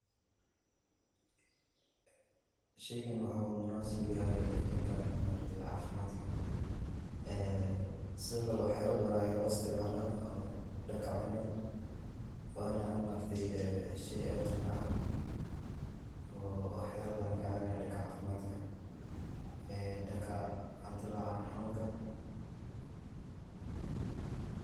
Sheygan waxa u munasab uyahay dhanka ma aragte caafimadka, ee sidokale wax yala badan aya loo isticmaala oo dhanka cunada, wana ma aragte ee shey aad umacaan oo wax yaba badan oo kacaabinay dhanka caafimadka ee dhanka hadii ladhoho calol xanunka